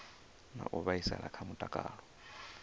na u vhaisala kha mutakalo